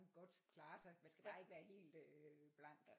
Godt klare sig man skal bare ikke være helt blank